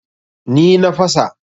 Ni na fasa.